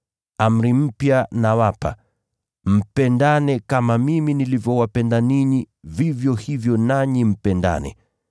“Amri mpya nawapa: Mpendane kama mimi nilivyowapenda ninyi, vivyo hivyo nanyi mpendane.